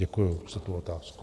Děkuju za tu otázku.